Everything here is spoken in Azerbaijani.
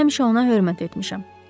Həmişə ona hörmət etmişəm.